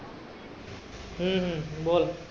हम्म हम्म बोल.